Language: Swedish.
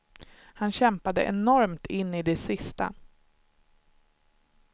Han kämpade enormt in i det sista.